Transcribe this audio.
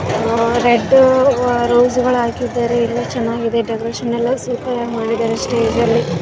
Red rose ಗಳು ಹಾಕಿದ್ದಾರೆ ಎಲ್ಲ ಚೆನ್ನಾಗಿದೆ ಡೆಕೋರೇಷನ್ ಎಲ್ಲ ಸೂಪರ್ ಆಗಿ ಮಾಡಿದ್ದಾರೆ ಸ್ಟೇಜ್ ಲಿ .